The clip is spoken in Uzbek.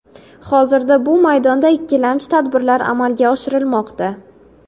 Hozirda bu maydonda ikkilamchi tadbirlar amalga oshirilmoqda.